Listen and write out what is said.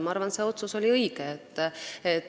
Ma arvan, et see otsus oli õige.